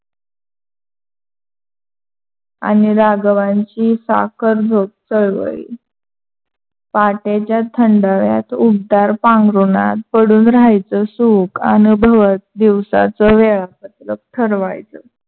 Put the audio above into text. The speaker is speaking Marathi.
आणि राघवांची साखर झोप चळवळली. पहाटेच्या थंडाव्यात ऊबदार पांघरूणात पडून राहायच सुख आन दिवसाच वेळापत्रक ठरवायचं.